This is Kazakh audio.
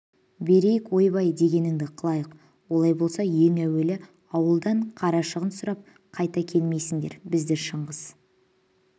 берейік ойбай дегеніңді қылайық олай болса ең әуелі ауылдан қарашығын сұрап қайта келмейсіңдер бізді шыңғыс